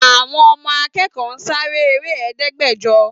Àwọn ọmọ akẹkọ Sare ere Ẹdẹgbẹjọ